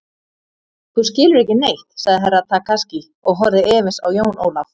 Þú skilur ekki neitt, sagði Herra Takashi og horfði efins á Jón Ólaf.